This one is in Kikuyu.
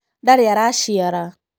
Ndarĩaraciara.